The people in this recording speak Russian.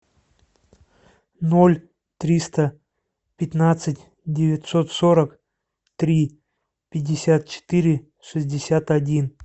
ноль триста пятнадцать девятьсот сорок три пятьдесят четыре шестьдесят один